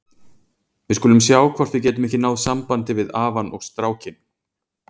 Við skulum sjá hvort við getum ekki náð sambandi við afann og strákinn.